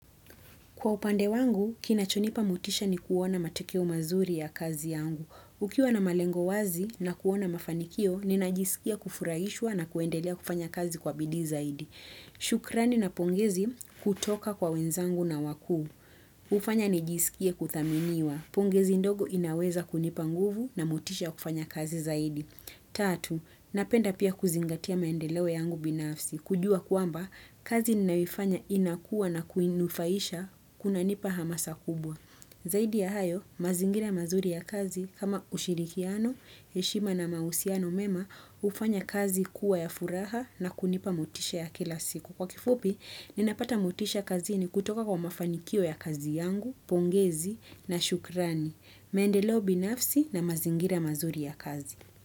Kwa upande wangu, kinachonipa motisha ni kuona matokeo mazuri ya kazi yangu. Ukiwa na malengo wazi na kuona mafanikio, ninajisikia kufurahishwa na kuendelea kufanya kazi kwa bidii zaidi. Shukrani na pongezi kutoka kwa wenzangu na wakuu. Hufanya nijisikie kuthaminiwa. Pongezi ndogo inaweza kunipa nguvu na motisha ya kufanya kazi zaidi. Tatu, napenda pia kuzingatia maendeleo yangu binafsi. Kujua kwamba, kazi ninayoifanya inakuwa na kuinufaisha kunanipa hamasa kubwa. Zaidi ya hayo, mazingira mazuri ya kazi, kama ushirikiano, heshima na mahusiano mema, hufanya kazi kuwa ya furaha na kunipa motisha ya kila siku. Kwa kifupi, ninapata motisha kazini kutoka kwa mafanikio ya kazi yangu, pongezi na shukrani. Maendeleo binafsi na mazingira mazuri ya kazi.